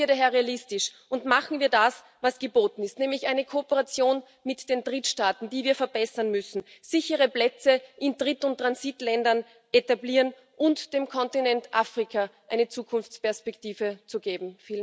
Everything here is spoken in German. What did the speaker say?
Bleiben wir daher realistisch und machen wir das, was geboten ist, nämlich eine Kooperation mit den Drittstaaten, die wir verbessern müssen, sichere Plätze in Dritt und Transitländern zu etablieren und dem Kontinent Afrika eine Zukunftsperspektive zu geben.